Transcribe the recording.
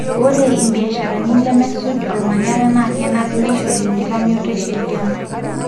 ore ibiasharani lemesuj olmanyara na kenare neishori enkitamioto esheria.